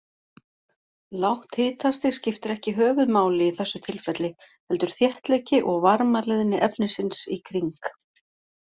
Lágt hitastig skiptir ekki höfuðmáli í þessu tilfelli, heldur þéttleiki og varmaleiðni efnisins í kring.